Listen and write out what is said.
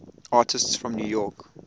artists from new york